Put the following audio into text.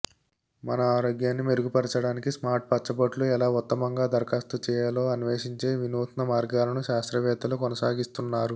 మన ఆరోగ్యాన్ని మెరుగుపర్చడానికి స్మార్ట్ పచ్చబొట్లు ఎలా ఉత్తమంగా దరఖాస్తు చేయాలో అన్వేషించే వినూత్న మార్గాలను శాస్త్రవేత్తలు కొనసాగిస్తున్నారు